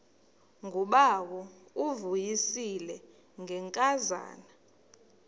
ngubawo uvuyisile ngenkazana